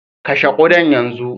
kashe ƙudan yanzu!